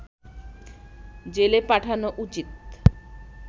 জেলে পাঠানো উচিৎ